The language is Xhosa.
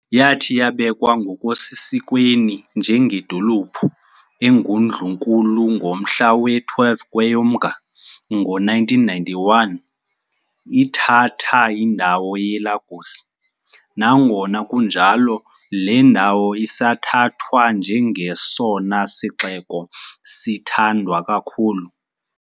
Yathi yabekwa ngokusesikweni njengedolophu engundlunkulu ngomhla we-12 KweyoMnga ngo1991, ithatha indawo yeLagos, nangona kunjalo le ndawo isathathwa njengesona sixeko sithandwa kakhulu.